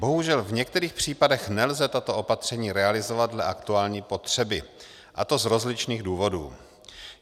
Bohužel v některých případech nelze tato opatření realizovat dle aktuální potřeby, a to z rozličných důvodů.